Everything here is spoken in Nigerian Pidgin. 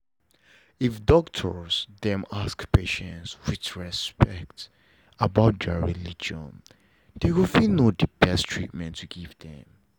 if doctors them ask patients with respect about their religion dem go fit know the best treatment to give them